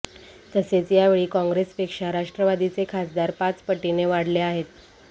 तसेच यावेळी काँग्रेसपेक्षा राष्ट्रवादीचे खासदार पाच पटीने वाढले आहेत